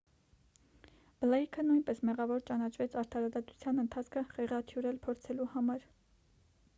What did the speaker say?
բլեյքը նույնպես մեղավոր ճանաչվեց արդարադատության ընթացքը խեղաթյուրել փորձելու համար